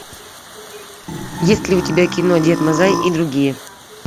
есть ли у тебя кино дед мазай и другие